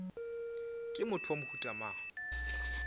ke motho wa mohuta mang